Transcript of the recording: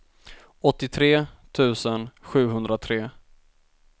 åttiotre tusen sjuhundratre